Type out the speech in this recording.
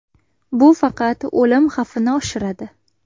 Bu faqat o‘lim xavfini oshiradi.